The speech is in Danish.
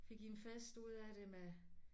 Fik en fest ud af det med